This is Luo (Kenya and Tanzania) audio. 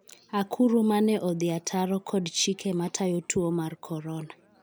akuru mane odhi ataro kod chike matayo tuo mar Korona